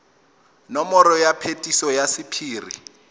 nomoro ya phetiso ya sephiri